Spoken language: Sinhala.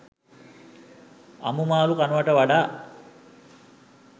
අමු මාළු කනවට වඩා